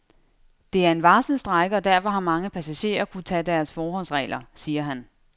Det er en varslet strejke, og derfor har mange passagerer kunnet tage deres forholdsregler, siger han.